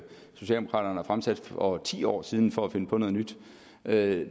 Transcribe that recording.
socialdemokraterne har fremsat for ti år siden for at finde på noget nyt det